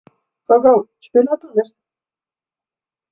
Gógó, spilaðu tónlist.